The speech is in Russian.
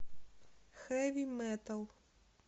хэви метал